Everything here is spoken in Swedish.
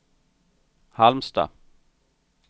Halmstad